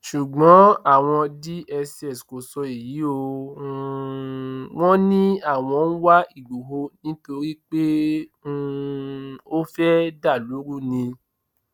ṣùgbọn àwọn dss kò sọ èyí o um wọn ní àwọn ń wá ìgboro nítorí pé um ó fẹẹ dàlú rú ni